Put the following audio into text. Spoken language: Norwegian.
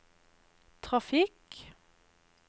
trafikk